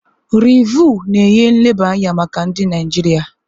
Rịvụ na-enye nleba anya maka ndị Naijiria.